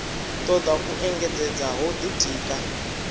toda u engedzedza ho ditika